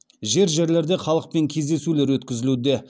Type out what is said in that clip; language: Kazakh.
жер жерлерде халықпен кездесулер өткізілуде